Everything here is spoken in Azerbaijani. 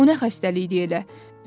O nə xəstəlikdir elə?